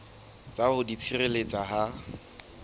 sa ho di tshireletsa ha